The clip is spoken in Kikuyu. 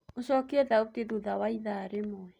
ũcokĩe thaũtĩ thũtha waĩthaa rĩmwe